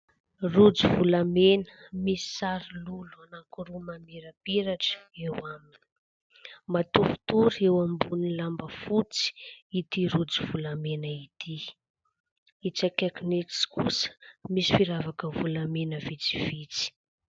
Rojo volamena misy sary lolo anankiroa mamirapiratra eo aminy. Matoritory eo ambon'ny lamba fotsy ity rojo volamena ity. Itsy akaikin itsy kosa misy firavaka volamena fotsifotsy.